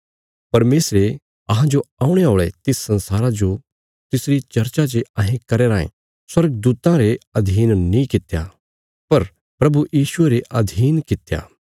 परमेशरे अहांजो औणे औल़े तिस संसारा जो तिसरी चर्चा जे अहें करया रायें स्वर्गदूतां रे अधीन नीं कित्या पर प्रभु यीशुये रे अधीन कित्या